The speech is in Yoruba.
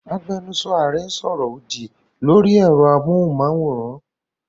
Agbẹnusọ Ààrẹ ń sọ ọ̀rọ̀ òdì lórí ẹ̀rọ amóhùnmáwòrán.